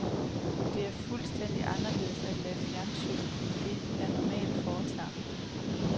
Det er fuldstændig anderledes at lave fjernsyn end det, jeg normalt foretager mig.